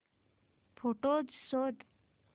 photos शोध